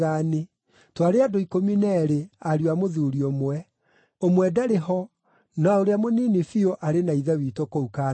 Twarĩ andũ ikũmi na eerĩ, ariũ a mũthuuri ũmwe. Ũmwe ndarĩ ho, na ũrĩa mũnini biũ arĩ na ithe witũ kũu Kaanani.’